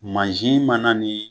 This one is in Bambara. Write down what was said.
mana nin